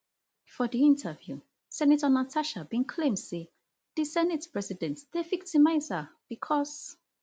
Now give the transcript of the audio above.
for di interview senator nastaha bin claim say di senate president dey victimise her bicos